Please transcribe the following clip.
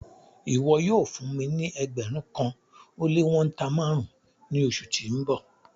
Ìwọ̀ yóò fún mí ní ẹgbérùn kan o le wọ̀nta màrùn ni oṣù tí n bọ